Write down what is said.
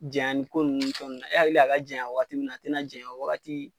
Janyan ni ko nunnu ni fɛn nunnu na, e hakili a ka janyan waagati min na a tɛna janyan o waagati.